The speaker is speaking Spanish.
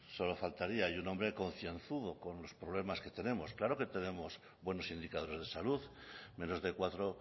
solo faltaría y un hombre concienzudo con los problemas que tenemos claro que tenemos buenos indicadores de salud menos de cuatro